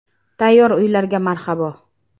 Tayyor uylarga marhabo .